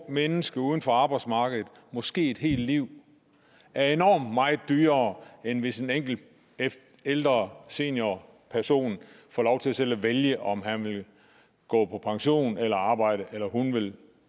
ungt menneske uden for arbejdsmarkedet måske et helt liv er enormt meget dyrere end hvis en enkelt ældre seniorperson får lov til selv at vælge om han vil gå på pension eller arbejde eller om hun vil